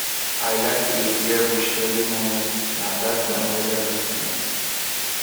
i like to dey clear bush early momo na that time weather dey cool